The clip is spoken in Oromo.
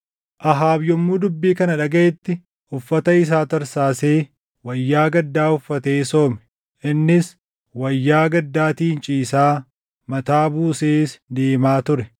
Ahaab yommuu dubbii kana dhagaʼetti uffata isaa tarsaasee, wayyaa gaddaa uffatee soome. Innis wayyaa gaddaatiin ciisaa, mataa buusees deemaa ture.